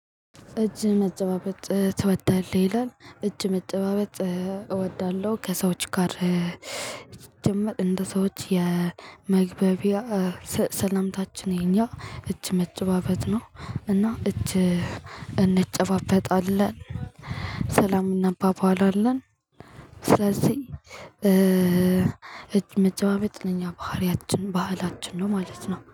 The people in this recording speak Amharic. እጅ መጨባበጥ ትወዳለህ? ይላል እጅ መጨባበጥ እወዳለሁ ከሰዎች ጋር ሲጀመር እንደ ሰዎች የመግባቢያ ሰላምታችን ይሄኛው እጅ መጨባበጥ ነው። እና እጅ እንጨባበጣለን ሰላም እንባባላለን አለን። ስለዚህ እጅ መጫባበጥ የኛ ባህሪያችን ባህላችን ነው ማለት ነው